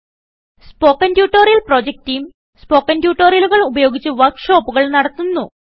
spoken tutorial project team spoken ട്യൂട്ടോറിയലുകൾ ഉപയോഗിച്ച് വർക്ക് ഷോപ്പുകൾ നടത്തുന്നു